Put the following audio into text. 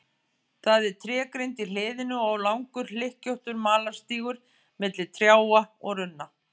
Það er trégrind í hliðinu og langur hlykkjóttur malarstígur milli trjáa og runna.